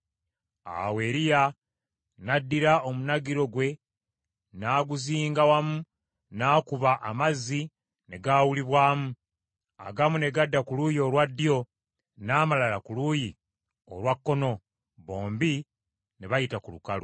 Awo Eriya n’addira omunagiro gwe n’aguzinga wamu n’akuba amazzi ne gaawulibwamu, agamu ne gadda ku luuyi olwa ddyo n’amalala ku luuyi olwa kkono, bombi ne bayita ku lukalu.